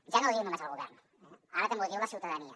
ja no ho diu només el govern ara també ho diu la ciutadania